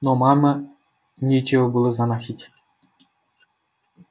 но мама нечего было заносить